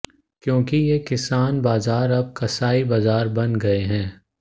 क्योंकि ये किसान बाजार अब कसाई बाजार बन गए हैं